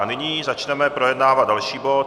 A nyní začneme projednávat další bod.